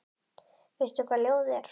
Veistu hvað ljóð er?